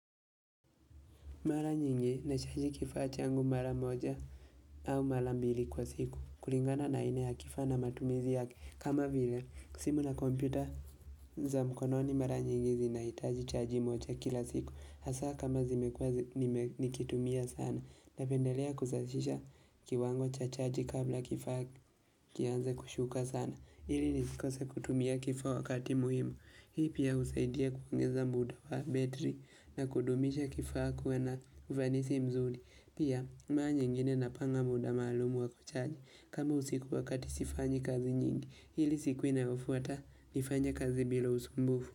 Mara nyingi na chaji kifaa changu mara moja au mara mbili kwa siku kulingana na aina ya kifaa na matumizi yake kama vile simu na kompyuta za mkononi mara nyingi zina hitaji chaji moja kila siku hasa kama zimekuwa nikitumia sana napendelea kuzashisha kiwango cha chaji kabla kifaa kianze kushuka sana ili nisikose kutumia kifaa wakati muhimu Hii pia usaidia kuongeza muda wa betri na kudumisha kifaa kuwa na uvanisi mzuri. Pia mara nyingine napanga muda maalumu wa kuchaji. Kama usiku wakati sifanyi kazi nyingi, ili siku inayofuata nifanye kazi bila usumbufu.